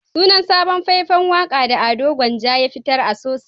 Sunan sabon fai-fan waka da Ado Gwanja ya fitar "A Sosa"